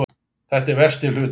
Þetta er versti hlutinn